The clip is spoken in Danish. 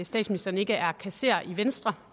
statsministeren ikke er kasserer i venstre